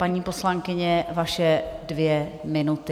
Paní poslankyně, vaše dvě minuty.